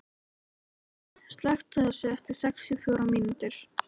Marínella, slökktu á þessu eftir sextíu og fjórar mínútur.